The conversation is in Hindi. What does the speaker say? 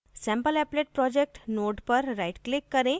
sampleapplet project node पर right click करें